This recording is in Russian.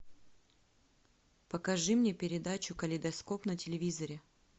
покажи мне передачу калейдоскоп на телевизоре